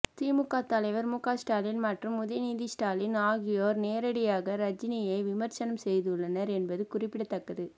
திமுக தலைவர் முக ஸ்டாலின் மற்றும் உதயநிதி ஸ்டாலின் ஆகியோர் நேரடியாக ரஜினியை விமர்சனம் செய்துள்ளனர் என்பது குறிப்பிடத்தக்கது